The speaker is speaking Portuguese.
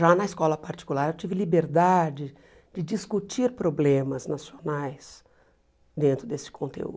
Já na escola particular eu tive liberdade de discutir problemas nacionais dentro desse conteúdo.